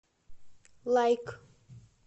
лайк